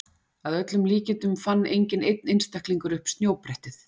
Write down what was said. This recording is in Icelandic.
Að öllum líkindum fann enginn einn einstaklingur upp snjóbrettið.